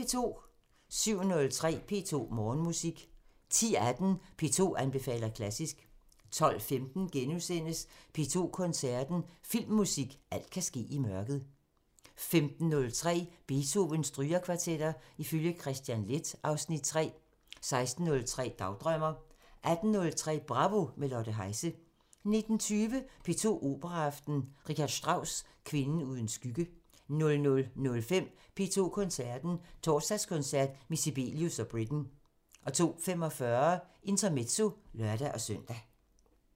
07:03: P2 Morgenmusik 10:18: P2 anbefaler klassisk 12:15: P2 Koncerten – Filmmusik – alt kan ske i mørket * 15:03: Beethovens Strygekvartetter ifølge Kristian Leth (Afs. 3) 16:03: Dagdrømmer 18:03: Bravo – med Lotte Heise 19:20: P2 Operaaften – R. Strauss: Kvinden uden skygge 00:05: P2 Koncerten – Torsdagskoncert med Sibelius og Britten 02:45: Intermezzo (lør-søn)